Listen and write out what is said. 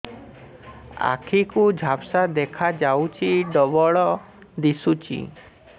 ଆଖି କୁ ଝାପ୍ସା ଦେଖାଯାଉଛି ଡବଳ ଦିଶୁଚି